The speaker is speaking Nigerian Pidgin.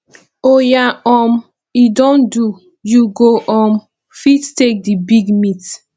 oya um e don do you go um fit take the big meat